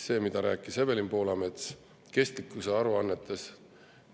Evelin Poolamets rääkis kestlikkusaruannetest.